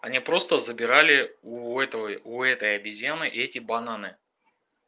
они просто забирали у этого у этой обезьяны эти бананы